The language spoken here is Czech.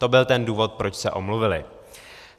To byl ten důvod, proč se omluvily.